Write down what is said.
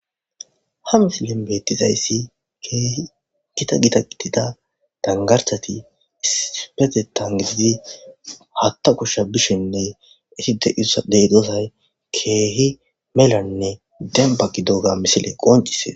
Ha misilen beettizayssi keehi gita gita qitida dangarsati ispete tangididi hatta kushsha bishinne iti deidozay keehi melanne dembagi dooga misile qoncisees.